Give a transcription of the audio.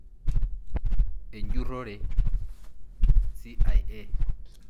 Enjurore CIA.